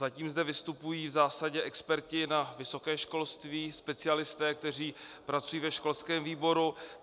Zatím zde vystupují v zásadě experti na vysoké školství, specialisté, kteří pracují ve školském výboru.